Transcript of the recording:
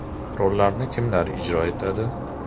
Rollarni kimlar ijro etadi?